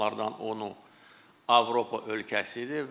Onlardan onu Avropa ölkəsidir.